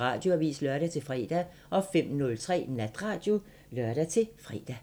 Radioavisen (lør-fre) 05:03: Natradio (lør-fre)